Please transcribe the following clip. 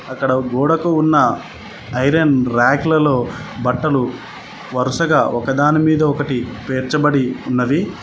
అక్కడ గోడకు ఉన్న ఐరన్ ర్యకులలో బట్టలు వరుసగా ఒకదానిమీద ఒకటి పేర్చబడి ఉన్నది.